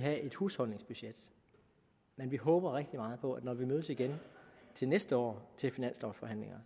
have et husholdningsbudget men vi håber rigtig meget på at når vi mødes igen næste år til finanslovforhandlingerne